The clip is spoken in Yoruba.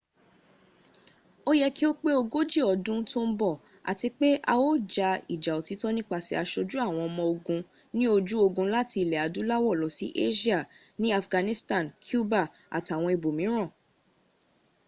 ó yẹ kí ó pẹ́ tó ogójì ọdún tó ń bọ̀ àti pé a ó ja ìjà òtítọ́ nípasẹ̀ asojú àwọn ọmọ ogun ní ojú ogun láti ilẹ̀ adúláwọ̀ lọ sí asia ní afghanistan cuba àtàwọn ibòmíràn